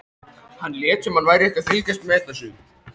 Hann lét sem hann væri ekkert að fylgjast með þessu.